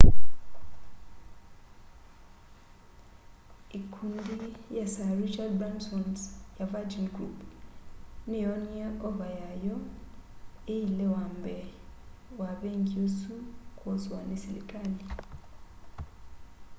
ikundi ya sir richard bransons ya virgin group niyoonie ova yayo iilewambee wa vengi usu kwoswa ni silikali